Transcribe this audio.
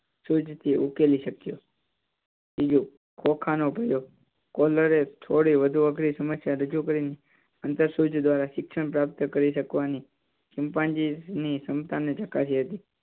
ઉકેલી શકયો ત્ખોત્રીજો ખ નો પ્રયોગ. એ થોડી વધુ અઘરી સમસ્યા રજૂ કરી ને આંતર સૂજ દ્વારા શિક્ષણ પ્રાપ્ત કરી શકવાની ચિંપાંજી ની ક્ષમતા ને ચકાસી હતી.